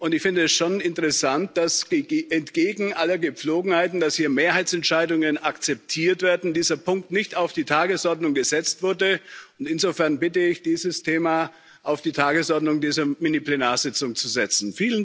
Ich finde es schon interessant, dass entgegen allen Gepflogenheiten, dass hier Mehrheitsentscheidungen akzeptiert werden, dieser Punkt nicht auf die Tagesordnung gesetzt wurde, und insofern bitte ich, dieses Thema auf die Tagesordnung dieser Miniplenarsitzung zu setzen.